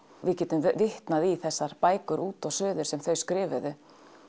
við getum vitnað í þessar bækur út og suður sem þau skrifuðu